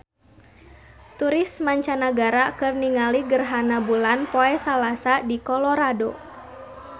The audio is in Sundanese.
Turis mancanagara keur ningali gerhana bulan poe Salasa di Colorado